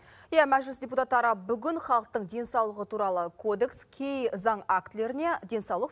иә мәжіліс депутаттары бүгін халықтың денсаулығы туралы кодекс кей заң актілеріне денсаулық